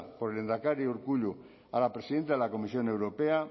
por lehendakari urkullu a la presidenta de la comisión europea